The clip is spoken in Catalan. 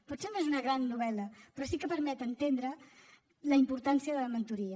potser no és una gran novel·la però sí que permet entendre la importància de la mentoria